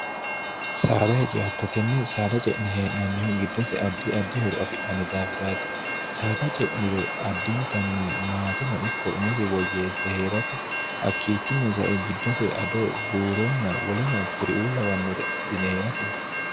saada heje attotenne saada ce'ni hee'nannihu giddose addi addi horo afi'nanni daafiraati saada ce'niro addintanni maate no ikko umosi woyyeesse hee'rate hakkiichinno sae giddose ado buuronna woleno kuriuu lawannore adhine hee'rateeti